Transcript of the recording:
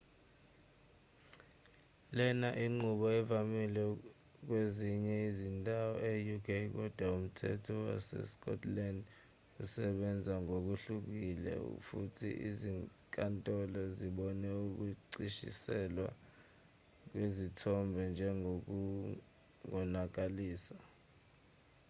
lena inqubo evamile kwezinye izindawo e-uk kodwa umthetho wasescotland usebenza ngokuhlukile futhi izinkantolo zibone ukushicilelwa kwezithombe njengokungonakalisa